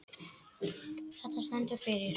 Þetta stendur fyrir